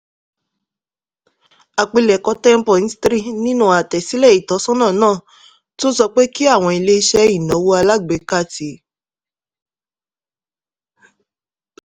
àpilẹ̀kọ 10.3 nínú àtẹ̀sílẹ̀ ìtọ́sọ́nà náà tún sọ pé kí àwọn ilé iṣẹ́ ìnáwó alágbèéká ti